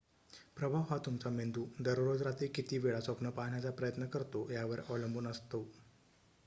प्रभाव हा तुमचा मेंदू दररोज रात्री किती वेळा स्वप्न पाहण्याचा प्रयत्न करतो यावर अवलंबून असतो